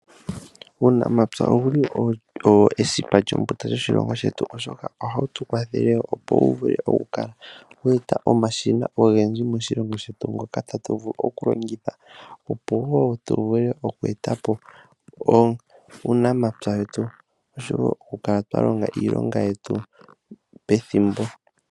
Uunamapya owo esipa lyombunda lyoshilongo shetu oshoka ohawu tu kwathele opo wu vule oku kala wa eta omashina ogendji moshilongo shetu moka tatu vulu oku longitha opo wo tu vule oku etapo uunamapya wetu osho wo oku kala twalonga iilonga yetu pethimbo.